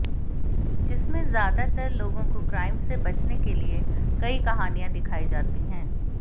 जिसमें ज्यादातर लाेगाें काे क्राइम से बचने के लिए कर्इ कहानियां दिखाई जाती हैं